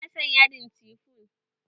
Ba na son yadin cifon